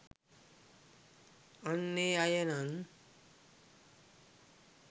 අන්න ඒ අය නං